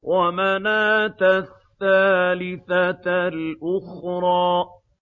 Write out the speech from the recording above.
وَمَنَاةَ الثَّالِثَةَ الْأُخْرَىٰ